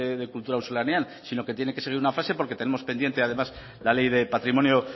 de kultura auzolanean sino que tiene que ser una fase porque tenemos pendiente además la ley de patrimonio